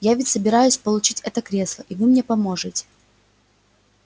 я ведь собираюсь получить это кресло и вы мне поможете